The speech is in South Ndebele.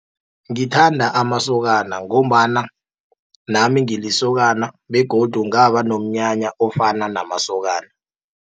Ngithanda amasokana, ngombana nami ngilisokana, begodu ngaba nomnyanya ofana namasokana.